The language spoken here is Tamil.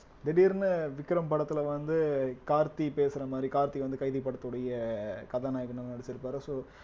திடீர்ன்னு விக்ரம் படத்துல வந்து கார்த்தி பேசுற மாதிரி கார்த்தி வந்து கைதி படத்துடைய கதாநாயகனா நடிச்சிருப்பாரு so